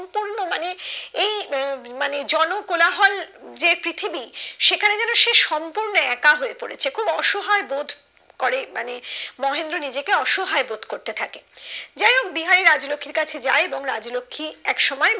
এই উম মানে জনকোলাহল যে পৃথিবী সেখানে যেন সে সূম্পর্ণ একা হয়ে পড়েছে খুব অসহায় বোধ করে মানে মহেন্দ্র নিজেকে অসহায় বোধ করতে থাকে যাইহোক বিহারি রাজলক্ষীর কাছে যায় এবং রাজলক্ষী একসময়